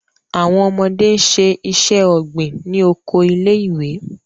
Awọn ọmọde n ṣe iṣẹ-ogbin ni oko ilé-ìwé